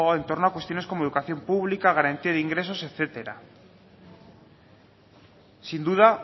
en torno a cuestiones como educación pública garantía de ingresos etcétera sin duda